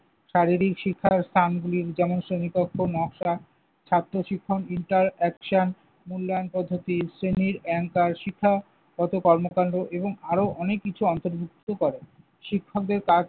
শারীরিক শিক্ষার স্থান দিয়ে যেমন, শ্রেণীকক্ষ নকশা, ছাত্র শিখন, interaction মূল্যায়ন পদ্ধতি, শ্রেণীর anchor শিক্ষাগত কর্মকান্ড এবং আরো অনেক কিছু অন্তর্ভুক্ত করে। শিক্ষকদের কাজ